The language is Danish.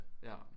Ja